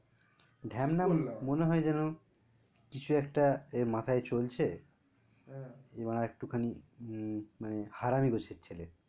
মনে হয় যেন কিছু একটা এর মাথায় চলছে এ একটু খানি হম গোছের ছেলে